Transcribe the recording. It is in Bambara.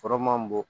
Kɔrɔ man bɔ